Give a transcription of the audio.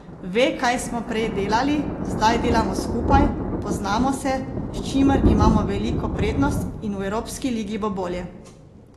Ve, kaj smo prej delali, zdaj delamo skupaj, poznamo se, s čimer imamo veliko prednost in v evropski ligi bo bolje.